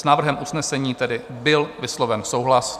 S návrhem usnesení tedy byl vysloven souhlas.